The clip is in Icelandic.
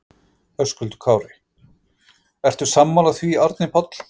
Höskuldur Kári: Ertu sammála því Árni Páll?